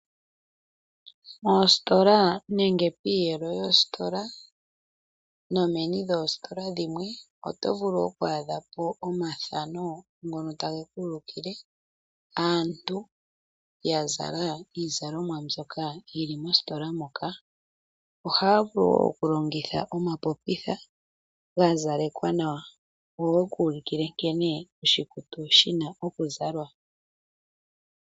Moositola nenge piiyelo yoositola nomeni lyoositola dhimwe oto vulu oku adha po omathano ngono tage ku ulukile aantu ya zala iizalomwa mbyoka yi li mositola moka. Ohaya vulu wo okulongitha omapopitha ga zalekwa nawa go ge ku ulukile nkene oshikutu shi na okuzalwa.